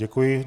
Děkuji.